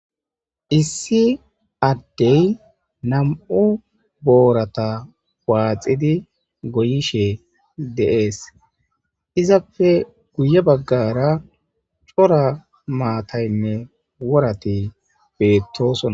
Issi addey nam7u boorata waaxidi goyishe deees izapfe guye baggara cora maataynne worati beettosona